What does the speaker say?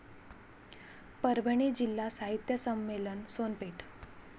परभणी जिल्हा साहित्य संमेलन, सोनपेठ